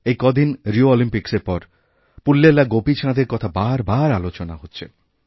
এই কদিন রিও অলিম্পিক্সের পর পুল্লেলা গোপীচাঁদেরকথা বার বার আলোচনা হচ্ছে